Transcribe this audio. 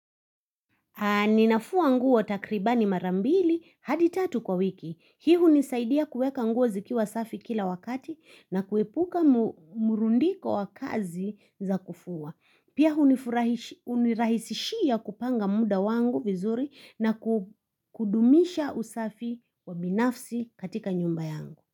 Ninafua nguo takribani mara mbili hadi tatu kwa wiki. Hii hunisaidia kuweka nguo zikiwa safi kila wakati na kuepuka murundiko wa kazi za kufua. Pia hunirahisishia kupanga muda wangu vizuri na kudumisha usafi wa binafsi katika nyumba yangu.